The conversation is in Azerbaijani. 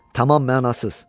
Tamam mənasız.